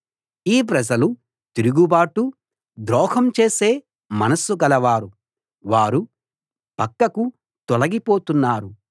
ఈ ప్రజలు తిరుగుబాటు ద్రోహం చేసే మనస్సు గలవారు వారు పక్కకు తొలగిపోతున్నారు